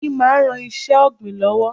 Oyin máa ń ran iṣẹ́ ọ̀gbìn lọ́wọ́.